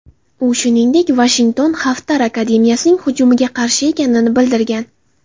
U shuningdek Vashington Xaftar armiyasining hujumiga qarshi ekanini bildirgan.